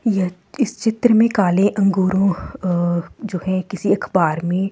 यह इस चित्र में काले अंगूरों जो है किसी अखबार में।